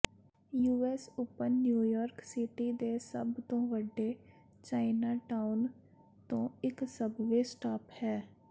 US open New York city ਦੇ ਸਭ ਤੋਂ ਵੱਡੇ ਚਾਈਨਾਟਾਊਨ ਤੋਂ ਇੱਕ ਸਬਵੇਅ ਸਟਾਪ ਹੈ